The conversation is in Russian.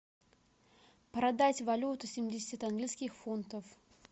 продать валюту семьдесят английских фунтов